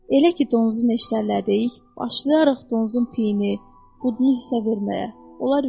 Elə ki donuzu neştərlədik, başlayarıq donuzun peyini üst-üstə verməyə.